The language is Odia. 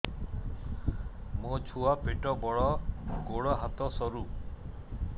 ମୋ ଛୁଆ ପେଟ ବଡ଼ ଗୋଡ଼ ହାତ ସରୁ